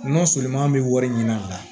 N'ɔ sominan bɛ wari ɲini a la